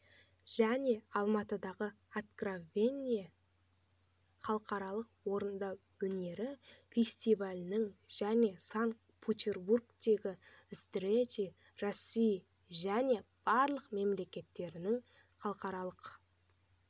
және алматыдағы откровение халықаралық орындау өнері фестивалінің және санкт-петербургтегі встречи россии және балтық мемлекеттерінің халықаралық